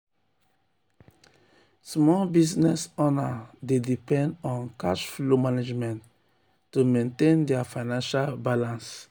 small business owners dey depend on cash flow management to maintain dia financial balance.